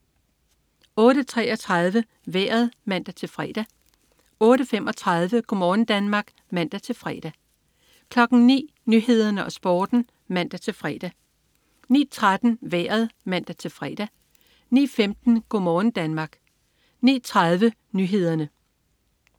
08.33 Vejret (man-fre) 08.35 Go' morgen Danmark (man-fre) 09.00 Nyhederne og Sporten (man-fre) 09.13 Vejret (man-fre) 09.15 Go' morgen Danmark 09.30 Nyhederne